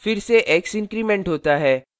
फिर से x increment होता है